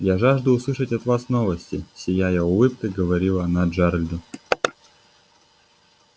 я жажду услышать от вас новости сияя улыбкой говорила она джералду